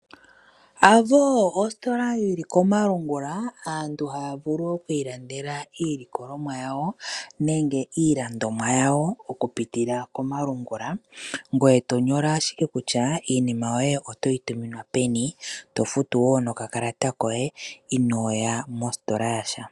Avo ositola yili komalungula, aantu haya vulu oku ilandela iilikolomwa yawo nenge iilandomwa yawo okupitila komalungula, ngoye to nyola ashike kutya iinima yoye otoyi tuminwa peni. To futu wo nokakalata koye ino ya mositola yasha.